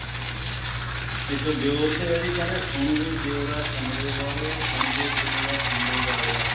ਇੱਕ ਦਿਓਰ ਤੇ ਹੈ ਜੀ ਕਹਿੰਦੇ ਸੁਣ ਵੇ ਦਿਉਰਾ ਸ਼ਮਲੇ ਵਾਲਿਆ ਸੁਣ ਵੇ ਦਿਉਰਾ ਸ਼ਮਲੇ ਵਾਲਿਆ